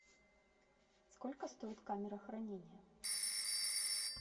сколько стоит камера хранения